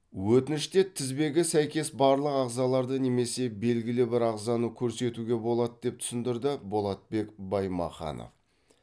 өтініште тізбегі сәйкес барлық ағзаларды немесе белгілі бір ағзаны көрсетуге болады деп түсіндірді болатбек баймаханов